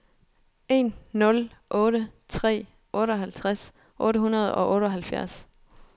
en nul otte tre otteoghalvtreds otte hundrede og otteoghalvfjerds